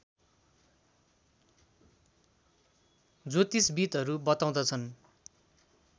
ज्योतिशविदहरू बताउँदछन्